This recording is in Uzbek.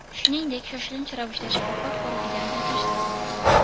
Shuningdek, shoshilinch ravishda shifokor ko‘rigidan o‘tish zarur.